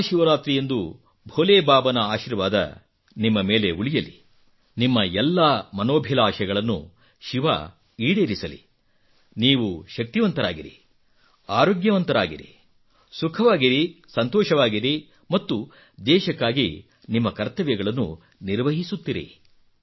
ಮಹಾಶಿವರಾತ್ರಿಯಂದು ಭೋಲೇ ಬಾಬಾನ ಆಶೀರ್ವಾದ ನಿಮ್ಮ ಮೇಲೆ ಉಳಿಯಲಿನಿಮ್ಮ ಎಲ್ಲಾ ಮನೋಭಿಲಾಷೆಗಳನ್ನು ಶಿವ ಈಡೇರಿಸಲಿ ನೀವು ಶಕ್ತಿವಂತರಾಗಿರಿ ಆರೋಗ್ಯವಂತರಾಗಿರಿ ಸುಖವಾಗಿರಿ ಸಂತೋಷವಾಗಿರಿ ಮತ್ತು ದೇಶಕ್ಕಾಗಿ ನಿಮ್ಮ ಕರ್ತವ್ಯಗಳನ್ನು ನಿರ್ವಹಿಸುತ್ತಿರಿ